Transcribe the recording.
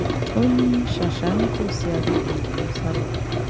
ó ní ṣàṣà nítòsí àgègè lòún sá lọ